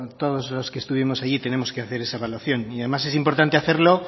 todos los que estuvimos allí tenemos que hacer esa evaluación además es importante hacerlo